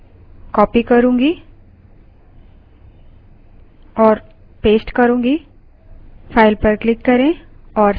जिन्हें मैं copy और paste करूँगी